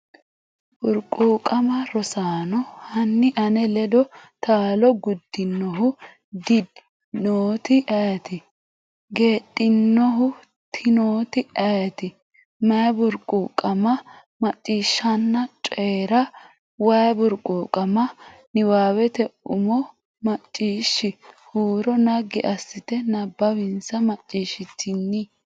Burquuqama Rosaano, hanni ane ledo taalo gudinohu ddinoti ayeeti? Gede’ninohu tinoti ayeeti? Mayi burquuqama? Macciishshanna Coyi’ra “Way Burquuqama” Niwaawete umo Macciishsh huuro naggi assite nabbawinsa Macciishshitini?